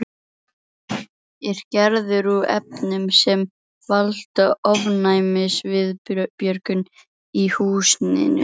Er gerður úr efnum sem valda ofnæmisviðbrögðum í húðinni.